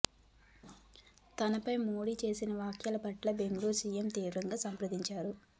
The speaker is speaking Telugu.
తనపై మోడీ చేసిన వ్యాఖ్యల పట్ల బెంగాల్ సిఎం తీవ్రంగా స్పందించారు